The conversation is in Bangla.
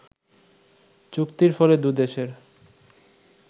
চুক্তির ফলে দু দেশের